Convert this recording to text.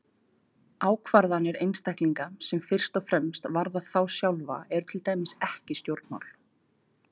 Ákvarðanir einstaklinga sem fyrst og fremst varða þá sjálfa eru til dæmis ekki stjórnmál.